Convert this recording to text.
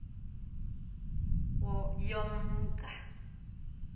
yomnga